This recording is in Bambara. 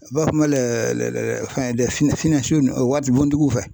U b'a fɔ ma waribontigiw fɛ.